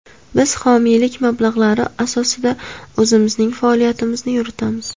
Biz homiylik mablag‘lari asosida o‘zimizning faoliyatimizni yuritamiz.